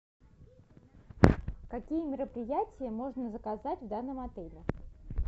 какие мероприятия можно заказать в данном отеле